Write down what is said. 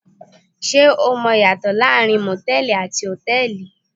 Ṣé o mọ ìyàtọ̀ láàárín motẹ̀ẹ̀li àti hotẹ́ẹ́li?